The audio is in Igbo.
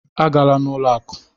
A gala n'ụlọ akụ!